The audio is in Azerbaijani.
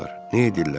Nə edirlər?